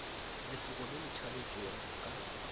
lefoko le le thaletšwego ka